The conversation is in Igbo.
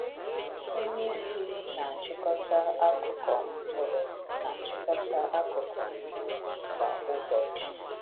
Onye isi na-achịkọta akụkọ mkpụrụ na-achịkọta akụkọ mkpụrụ ubi kwa ụbọchị.